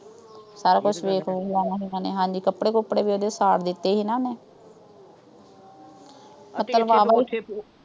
ਤਾਹੀਓਂ ਤਾਂ ਛੇ ਕੁ ਵਜੇ ਆਈਆਂ ਸੀ। ਕੱਪੜੇ-ਕੁੱਪੜੇ ਵੀ ਸਾੜ ਦਿੱਤੇ ਸੀ ਨਾ ਉਹਨੇ।